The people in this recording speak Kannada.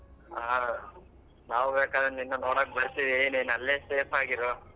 ಹಾ ನಾವ್ ಬೇಕಾದ್ರೆ ನಿನ್ನ ನೋಡಾಕ್ ಬರ್ತೀವಿ ನೀನ್ ಅಲ್ಲೇ safe ಆಗಿ ಇರು.